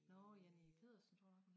Nårh Janni Pedersen tror jeg